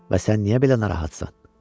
Və sən niyə belə narahatsan?